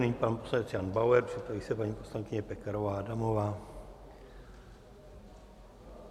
Nyní pan poslance Jan Bauer, připraví se paní poslankyně Pekarová Adamová.